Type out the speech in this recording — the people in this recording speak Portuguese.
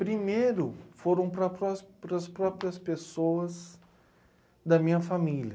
Primeiro foram para prox para as próprias pessoas da minha família.